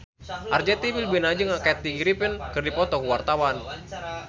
Arzetti Bilbina jeung Kathy Griffin keur dipoto ku wartawan